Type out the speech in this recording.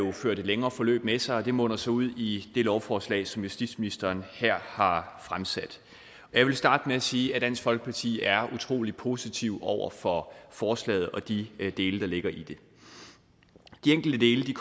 har ført et længere forløb med sig og det munder så ud i det lovforslag som justitsministeren her har fremsat jeg vil starte med at sige at dansk folkeparti er utrolig positive over for forslaget og de dele der ligger i det de enkelte dele